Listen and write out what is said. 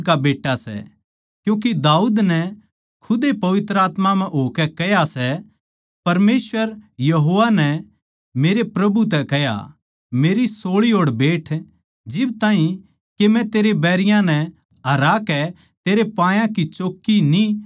क्यूँके दाऊद नै खुद ए पवित्र आत्मा म्ह होकै कह्या सै परमेसवर यहोवा नै मेरै प्रभु तै कह्या मेरै सोळी ओड़ बैठ जिब ताहीं के मै तेरे बैरियाँ नै हरा कै तेरै पायां की चौक्की न्ही बणा दियुँ